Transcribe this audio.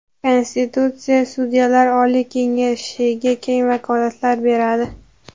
Konstitutsiya Sudyalar oliy kengashiga keng vakolatlar beradi.